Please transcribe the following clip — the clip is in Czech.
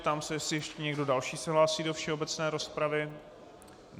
Ptám se, jestli ještě někdo další se hlásí do všeobecné rozpravy.